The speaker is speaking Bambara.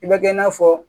I bɛ kɛ i n'a fɔ